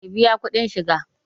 Ka biya kuɗin shiga!